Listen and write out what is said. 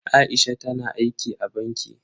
Aisha tana aiki a banki.